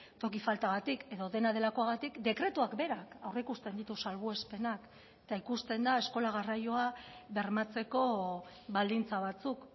toki faltagatik edo dena delakoagatik dekretuak berak aurreikusten ditu salbuespenak eta ikusten da eskola garraioa bermatzeko baldintza batzuk